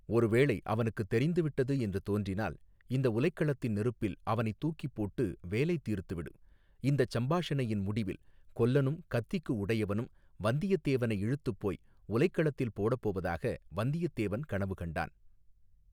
ஒருவேளை அவனுக்குத் தெரிந்து விட்டது என்று தோன்றினால் இந்த உலைக் களத்தின் நெருப்பில் அவனைத் தூக்கிப் போட்டு வேலை தீர்த்துவிடு இந்தச் சம்பாஷணையின் முடிவில் கொல்லனும் கத்திக்கு உடையவனும் வந்தியத்தேவனை இழுத்துப் போய் உலைக் களத்தில் போடப் போவதாக வந்தியத்தேவன் கனவு கண்டான்.